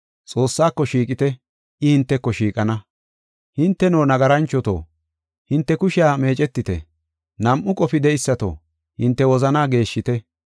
Xoossaako shiiqite; I hinteko shiiqana. Hinteno, nagaranchoto, hinte kushiya meecetite; nam7u qofi de7eysato, hinte wozanaa geeshshite.